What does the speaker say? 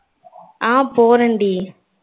ஆஹ் போறேன் டி